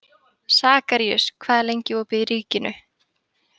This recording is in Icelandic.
Sakarías, hvað er lengi opið í Ríkinu?